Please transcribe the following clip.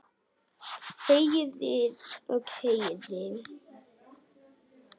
Herðir og herðir.